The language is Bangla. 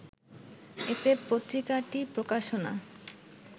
এতে পত্রিকাটির প্রকাশনা